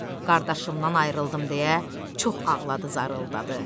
Qardaşımdan ayrıldım deyə çox ağladı zarıldadı.